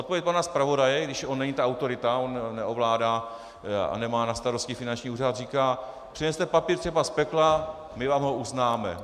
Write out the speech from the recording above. Odpověď pana zpravodaje, když on není ta autorita, on neovládá a nemá na starosti finanční úřad, říká - přineste papír třeba z pekla, my vám ho uznáme.